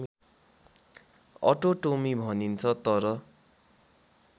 अटोटोमी भनिन्छ तर